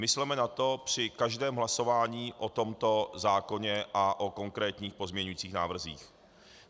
Mysleme na to při každém hlasování o tomto zákoně a o konkrétních pozměňujících návrzích.